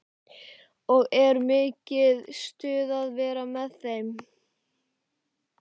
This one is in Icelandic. Og er mikið stuð að vera með þeim?